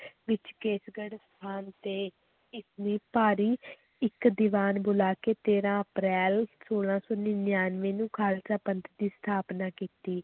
ਵਿੱਚ ਕੇਸਗੜ੍ਹ ਸਥਾਨ ਤੇ ਭਾਰੀ ਇੱਕ ਦੀਵਾਨ ਬੁਲਾ ਕੇ ਤੇਰਾਂ ਅਪ੍ਰੈਲ, ਸੋਲਾਂ ਸੌ ਨੜ੍ਹਿਨਵੇਂ ਨੂੰ ਖ਼ਾਲਸਾ ਪੰਥ ਦੀ ਸਥਾਪਨਾ ਕੀਤੀ।